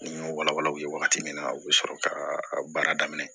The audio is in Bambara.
Ni y'o walawala u bɛ wagati min na u bɛ sɔrɔ ka baara daminɛ